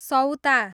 सौता